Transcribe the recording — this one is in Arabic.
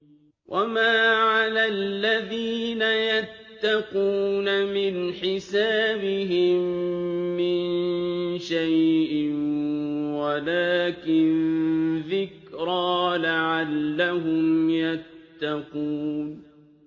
وَمَا عَلَى الَّذِينَ يَتَّقُونَ مِنْ حِسَابِهِم مِّن شَيْءٍ وَلَٰكِن ذِكْرَىٰ لَعَلَّهُمْ يَتَّقُونَ